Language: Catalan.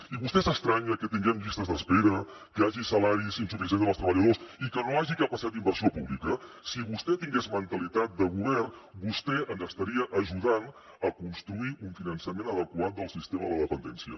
i vostè s’estranya que tinguem llistes d’espera que hi hagi salaris insuficients dels treballadors i que no hi hagi capacitat d’inversió pública si vostè tingués mentalitat de govern vostè ens estaria ajudant a construir un finançament adequat del sistema de la dependència